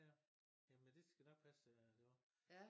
Ja jamen det skal nok passe at det var